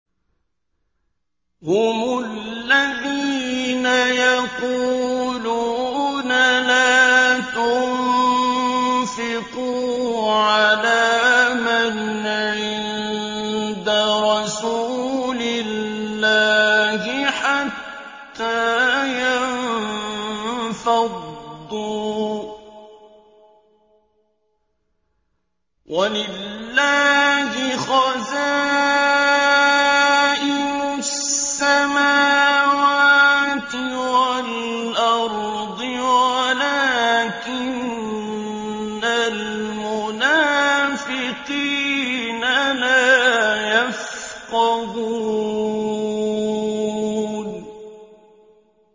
هُمُ الَّذِينَ يَقُولُونَ لَا تُنفِقُوا عَلَىٰ مَنْ عِندَ رَسُولِ اللَّهِ حَتَّىٰ يَنفَضُّوا ۗ وَلِلَّهِ خَزَائِنُ السَّمَاوَاتِ وَالْأَرْضِ وَلَٰكِنَّ الْمُنَافِقِينَ لَا يَفْقَهُونَ